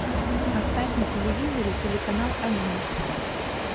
поставь на телевизоре телеканал один